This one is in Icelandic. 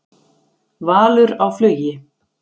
Valur á flugi